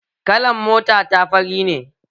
Kalan mota ta fari ne